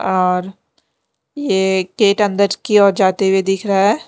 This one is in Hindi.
और ये गेट अंदर की ओर जाते हुए दिख रहा है।